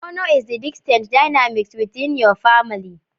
Honor is the distinct dynamics within your famil